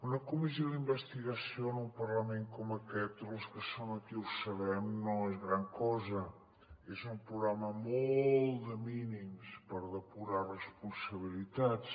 una comissió d’investigació en un parlament com aquest els que som aquí ho sabem no és gran cosa és un programa molt de mínims per depurar responsabilitats